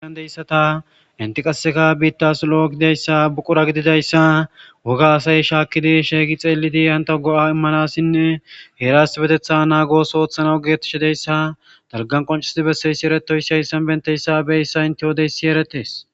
Hagan deyssata inti qaseka biittas lo7o gidayssa buqura gididayssa woga asay shaakkidi sheeygi xeelidi hanta go7a immanassinne heeras beteththa naagos ooththana ogetishideyssa dalgan qoncisidi besseyssi eretoy si hayssan benteyssa beyyssa intiwodeyssi eretes.